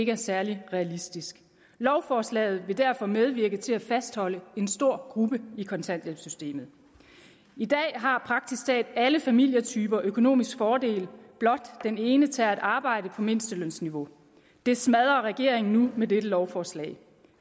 er særlig realistisk lovforslaget vil derfor medvirke til at fastholde en stor gruppe i kontanthjælpssystemet i dag har praktisk talt alle familietyper en økonomisk fordel ved at blot den ene tager et arbejde på mindstelønsniveau det smadrer regeringen nu med dette lovforslag